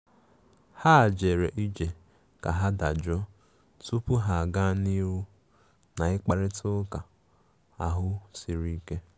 Ha jere ije ka ha dajụọ tupu ha aga n'ihu na mkparịta ụka ahụ siri ike.